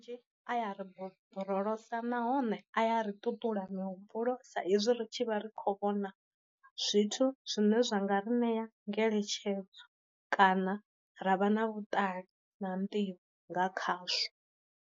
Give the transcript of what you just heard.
Aya ri borolosa nahone a ya ri ṱuṱula mi humbulo sa ezwi ri tshi vha ri kho vhona zwithu zwine zwa nga ri ṋea ngeletshedzo, kana ra vha na vhuṱali na nḓivho nga khazwo.